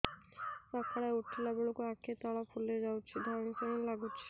ସକାଳେ ଉଠିଲା ବେଳକୁ ଆଖି ତଳ ଫୁଲି ଯାଉଛି ଧଇଁ ସଇଁ ଲାଗୁଚି